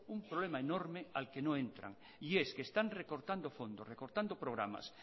un problema enorme al que no entran y es que están recortando fondos recortando programas